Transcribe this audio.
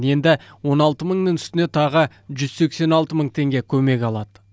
енді он алты мыңның үстіне тағы жүз сексен алты мың көмек алады